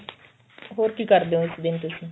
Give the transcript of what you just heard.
ਹੋਰ ਕੀ ਕਰਦੇ ਓ ਇਸ ਦਿਨ ਤੁਸੀਂ